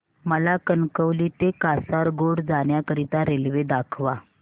मला कणकवली ते कासारगोड जाण्या करीता रेल्वे दाखवा